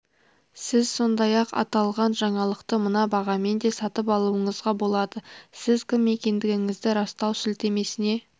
сіз сондай-ақ аталған жаңалықты мына бағамен де сатып алуыңызға болады сіз кім екендігіңізді растау сілтемесіне